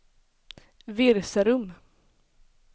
Virserum